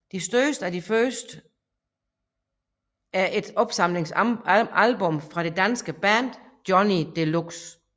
De største af de første er et opsamlingsalbum fra det danske band Johnny Deluxe